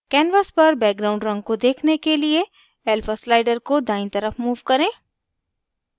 canvas पर background रंग को देखने के लिए alpha slider को दायीं तरफ move करें